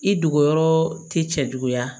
I dogo yɔrɔ ti cɛ juguya